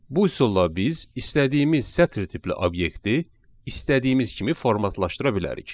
Bu üsulla biz istədiyimiz sətri tipli obyekti istədiyimiz kimi formatlaşdıra bilərik.